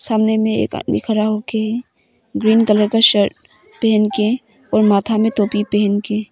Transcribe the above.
सामने में एक आदमी खड़ा हो के ग्रीन कलर का शर्ट पहन के और माथा में टोपी पहन के।